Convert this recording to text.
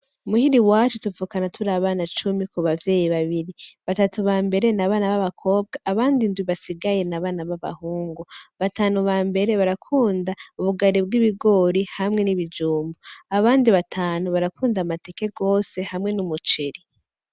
Imuhira iwacu tuvuka turi abana icumi kibavyeyi babiri , batatu bambere n'abana babakobwa, abandi indwi basigaye n'abana basigaye babahungu, batanu bambere barakunda ubugari bw'ibigori hamwe n'ibijumbu ,abandi batanu barakunda amateke gose hamwe n'umuceri.